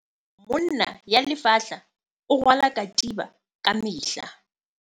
monna ya lefatla o rwala katiba ka mehla.